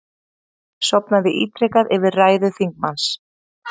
Sofnaði ítrekað yfir ræðu þingmanns